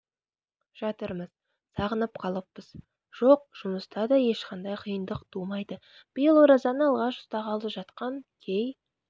жатырмыз сағынып қалыппыз жоқ жұмыста да ешқандай қиындық тумайды биыл оразаны алғаш ұстағалы жатқан кей